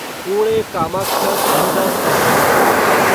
Pune Kamakhya Suvidha special express